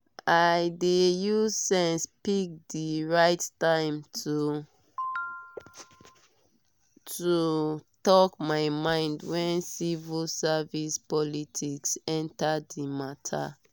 i dey use sense pick the right time to talk my mind when civil service politics enter the matter.